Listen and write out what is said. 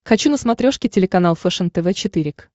хочу на смотрешке телеканал фэшен тв четыре к